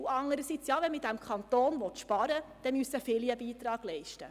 Andererseits, wenn man in diesem Kanton sparen will, müssen viele einen Beitrag leisten.